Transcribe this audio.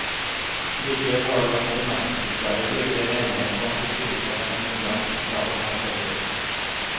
Likevel har det vært bemerkelsesverdig lite enighet blant historikere om hvordan drapene har foregått.